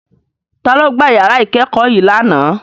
Ta ló gbá ìyàrá ìkẹ́kọ̀ọ́ yii lánàá.